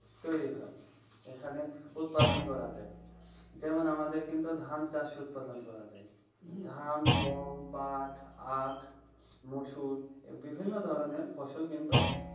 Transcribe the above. তৈরি হয়, বা উৎপাদন করা যায়। যেমন আমাদের কিন্তু ধান চাষ করা হয়। ধান, গম, পাট, আখ, মুসুর বিভিন্ন ধরণের ফসল কিন্তু